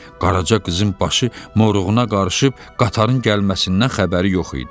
Qaraca qızın başı moruğuna qarışıb qatarın gəlməsindən xəbəri yox idi.